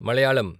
Malayalam